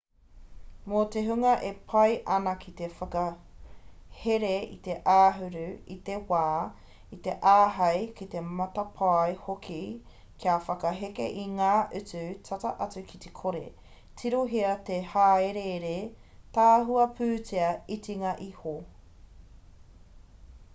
mō te hunga e pai ana ki te whakahere i te āhuru i te wā i te āhei ki te matapae hoki kia whakaheke i ngā utu tata atu ki te kore tirohia te hāereere tahua pūtea itinga iho